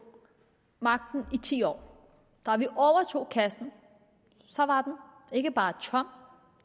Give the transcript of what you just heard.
magten i ti år da vi overtog kassen var den ikke bare tom